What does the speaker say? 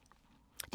DR2